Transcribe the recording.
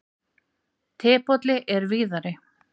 Tebolli er víðari.